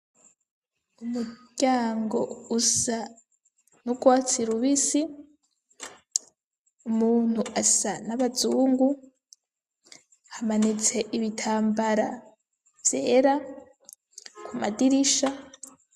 Umuryango usa n'urwatsi rubisi umuntu asa n'abazungu, hamanitse ibitambara vyera ku madirisha.